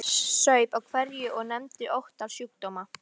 Mamma saup hveljur og nefndi ótal sjúkdóma.